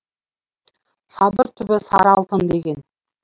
сабыр түбі сары алтын деген